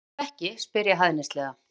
Og ef ekki, spyr ég hæðnislega.